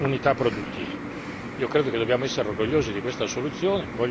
tra i settori e tra le singole unità produttive.